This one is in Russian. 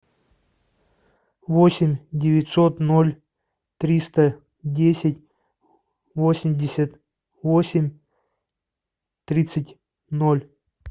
восемь девятьсот ноль триста десять восемьдесят восемь тридцать ноль